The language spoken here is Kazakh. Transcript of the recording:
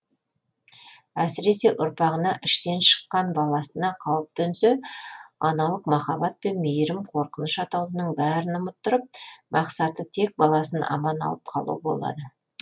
әсіресе ұрпағына іштен шыққан баласына қауіп төнсе аналық махаббат пен мейірім қорқыныш атаулының бәрін ұмыттырып мақсаты тек баласын аман алып қалу болады